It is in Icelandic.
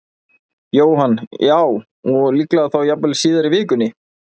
Jóhann: Já, og líklega þá jafnvel síðar í vikunni?